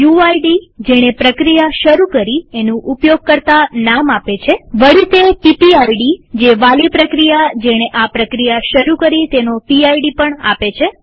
UID જેણે પ્રક્રિયા શરુ કરી એનું ઉપયોગકર્તા નામ આપે છેવળી તે પીપીઆઈડી જે વાલી પ્રક્રિયા જેણે આ પ્રક્રિયા શરુ કરી તેનો પીડ પણ આપે છે